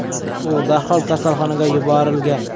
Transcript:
U darhol kasalxonaga yuborilgan.